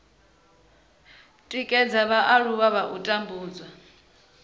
tikedza vhaaluwa kha u tambudzwa